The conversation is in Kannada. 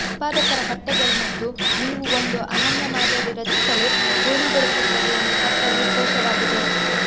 ಉತ್ಪಾದಕರ ಬಟ್ಟೆಗಳು ಮತ್ತು ನೀವು ಒಂದು ಅನನ್ಯ ಮಾದರಿ ರಚಿಸಲು ಪೂರ್ಣಗೊಳಿಸುತ್ತದೆ ಎಂದು ಪತ್ರವು ಕೋಶವಾಗಿದೆ